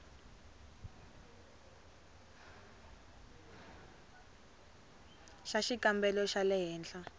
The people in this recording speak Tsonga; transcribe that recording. xa xikambelo xa le henhla